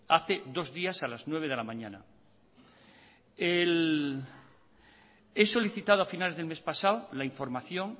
hace dos días a las nueve cero de la mañana he solicitado a finales del mes pasado la información